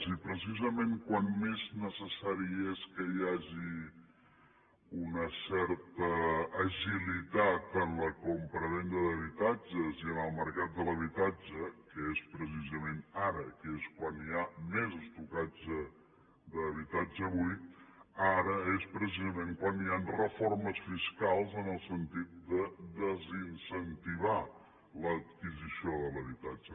i precisament quan més necessari és que hi hagi una certa agilitat en la compravenda d’habitatges i en el mercat de l’habitatge que és precisament ara que és quan hi ha més estoc d’habitatge buit ara és precisament quan hi han reformes fiscals en el sentit de desincentivar l’adquisició de l’habitatge